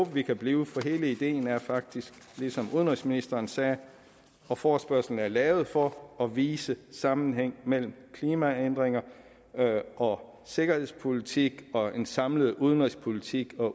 vi kan blive for hele ideen er faktisk ligesom udenrigsministeren sagde at forespørgslen er lavet for at vise sammenhæng mellem klimaændringer og sikkerhedspolitik og en samlet udenrigspolitisk og